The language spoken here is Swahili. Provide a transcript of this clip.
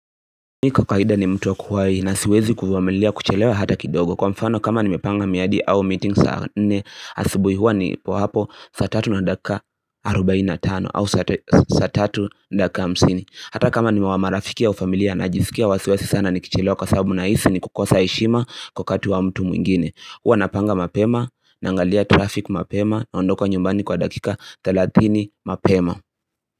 Mimi kwa kawaida ni mtu wa kuwai na siwezi kuvumilia kuchelewa hata kidogo Kwa mfano kama nimepanga miadi au meeting saa nne asibui huwa nipo hapo saa tatu na dakika arubaini na tano au saa tatu na dakika hamsini Hata kama niwa marafiki wafamilia na jiskia wasiwasi sana nikichelewa kwa sababu na hisi ni kukosa heshima kwa wakati wa mtu mwingine huwa napanga mapema, nangalia traffic mapema, naondoka nyumbani kwa dakika thelatini mapema.